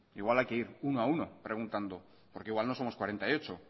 igual hay que ir uno a uno preguntando porque igual no somos cuarenta y ocho